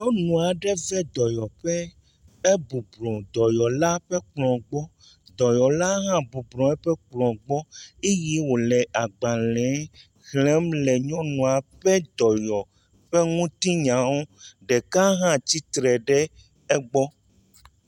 Nyɔnu aɖe va dɔyɔƒe, ebublu le dɔyɔla ƒe kplɔ̃ gbɔ. Dɔyɔla hã bublu nɔ eƒe kplɔ̃ gbɔ eye wole agbalẽ xlem le nyɔnu la ƒe dɔyɔƒe ŋutinyawo ŋu, ɖeka hã tsitre ɖe egbɔ.